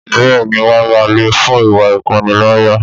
Bẹ́ẹ̀ni wọn máa lée fún ìwá ìpaniláyà